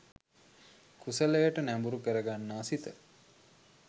කුසලයට නැඹුරු කරගන්නා සිත